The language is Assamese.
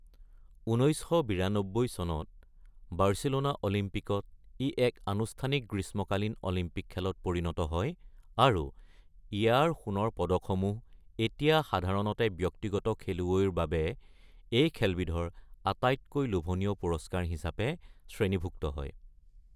১৯৯২ চনত বাৰ্চিলোনা অলিম্পিকত ই এক আনুষ্ঠানিক গ্ৰীষ্মকালীন অলিম্পিক খেলত পৰিণত হয় আৰু ইয়াৰ সোণৰ পদকসমূহ এতিয়া সাধাৰণতে ব্যক্তিগত খেলুৱৈৰ বাবে এই খেলবিধৰ আটাইতকৈ লোভনীয় পুৰস্কাৰ হিচাপে শ্ৰেণীভুক্ত হয়।